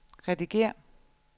redigér